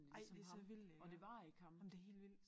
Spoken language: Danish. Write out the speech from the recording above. Ej det så vildt det er jamen det helt vildt